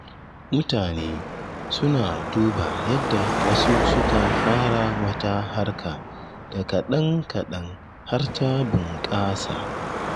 Mutane suna duba yadda wasu suka fara wata harka da kaɗan-kaɗan har ta bunƙasa.